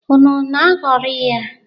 Unu na-aghọrị ya?